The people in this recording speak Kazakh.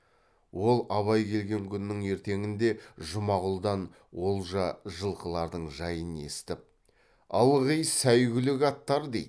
ол абай келген күннің ертеңінде жұмағұлдан олжа жылқылардың жайын есітіп ылғи сәйгүлік аттар дейді